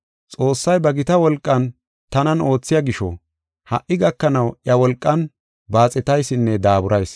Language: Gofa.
Xoossay ba gita wolqan tanan oothiya gisho, ha77i gakanaw iya wolqan baaxetaysinne daaburayis.